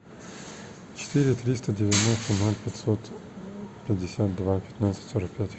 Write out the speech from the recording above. четыре триста девяносто ноль пятьсот пятьдесят два пятнадцать сорок пять